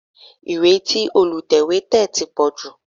Ìwé tí Olùtẹ̀wé tẹ̀ ti pọ̀ jù